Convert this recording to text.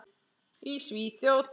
Í Svíþjóð